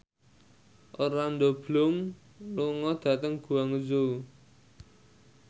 Orlando Bloom lunga dhateng Guangzhou